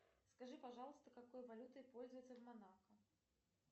скажи пожалуйста какой валютой пользуются в монако